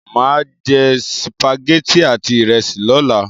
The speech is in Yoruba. Mà á jẹ sìpàgẹ́tì àti ìrẹsì lọ́la.